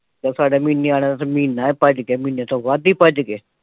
ਤੇ ਸਾਡੇ ਐਵੀਂ ਨਿਆਣਿਆਂ ਚ ਮਹੀਨਾ ਭੱਜ ਗਿਆ, ਮਹੀਨੇ ਤੋਂ ਵੱਧ ਈ ਭੱਜ ਗਿਆ।